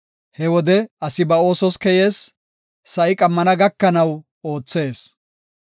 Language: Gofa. He wode asi ba oosos keyees; sa7i qammana gakanaw oothees.